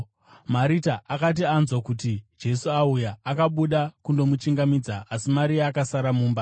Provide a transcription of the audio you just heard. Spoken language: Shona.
Marita akati anzwa kuti Jesu auya, akabuda kundomuchingamidza, asi Maria akasara mumba.